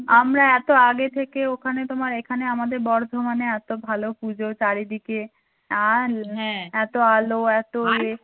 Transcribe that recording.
আমরা এতো আগে থেকে ওখানে তোমার এখানে আমাদের বর্ধমানে এতো ভালো পুজো চারিদিকে এতো আলো এতো